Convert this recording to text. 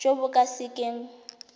jo bo ka se keng